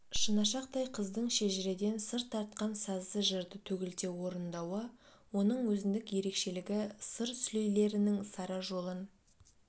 шынашақтай қыздың шежіреден сыр тартқан сазды жырды төгілте орындауы оның өзіндік ерекшелігі сыр сүлейлерінің сара жолын